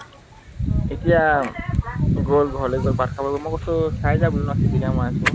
এতিয়া গল ঘৰলে গল, ভাত খাব গল, মই কৈছো বোলো খাই যা বোলো ন, পিটিকা বনাইছো